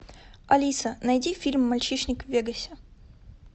алиса найди фильм мальчишник в вегасе